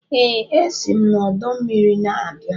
Ee, esi m n'ọdọ mmiri na-abịa